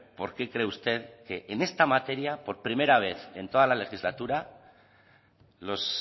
por qué cree usted que en esta materia por primera vez en toda la legislatura los